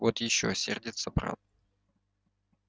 вот ещё сердится брат